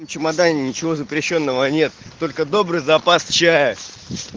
и чемодане ничего запрещённого нет только добрый запас чая